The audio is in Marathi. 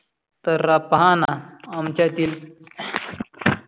तर रहा पहाना आमच्या तिल